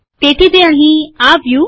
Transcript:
તેથી તે અહીં આવ્યું